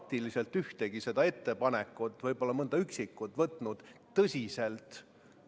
Mul on selline palve, et kui tehakse mingisugused ettepanekud, näiteks muudatusettepanek läbi hääletada, paluks seda teha hästi kõva ja selge häälega.